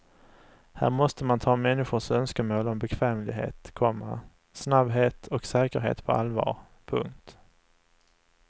Här måste man ta människors önskemål om bekvämlighet, komma snabbhet och säkerhet på allvar. punkt